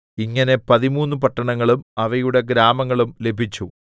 ഇങ്ങനെ പതിമൂന്ന് പട്ടണങ്ങളും അവയുടെ ഗ്രാമങ്ങളും ലഭിച്ചു